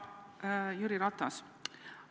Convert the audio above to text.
Härra Jüri Ratas!